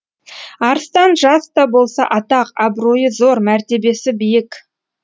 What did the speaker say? арыстан жас та болса атақ абыройы зор мәртебесі биік